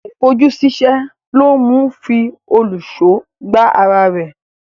Àìfojúsíṣẹ́ ló mú un fi òlùṣó gbá ara rẹ̀.